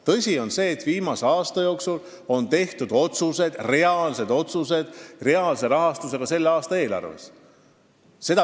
Tõsi on see, et viimase aasta jooksul on tehtud reaalsed otsused, mille taga on reaalne rahastus selle aasta eelarves.